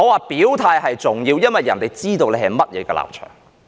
表態是重要的，因為別人要知道你的立場是甚麼。